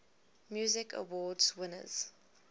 music awards winners